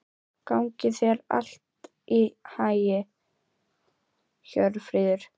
Hennar uppstigning og hvítasunna munu koma.